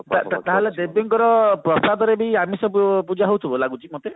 ତାହେଲେ ଦେବୀଙ୍କର ପ୍ରସାଦରେ ବି ଆମିଷ ପୂଜା ହଉଥିବ ଲାଗୁଛି ମତେ